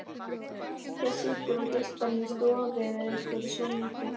Bylgja situr og geispar inni í stofu yfir einhverju sjónvarpi.